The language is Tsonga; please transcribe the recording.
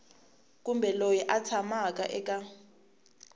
kumbe loyi a tshamaka eka